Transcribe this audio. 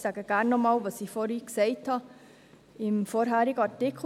Ich sage aber gerne noch einmal, was ich vorhin zum vorangehenden Artikel gesagt habe.